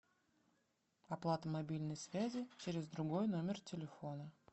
оплата мобильной связи через другой номер телефона